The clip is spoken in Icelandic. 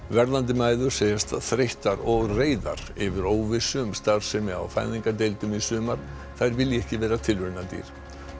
verðandi mæður segjast þreyttar og reiðar yfir óvissu um starfsemi á fæðingardeildum í sumar þær vilji ekki vera tilraunadýr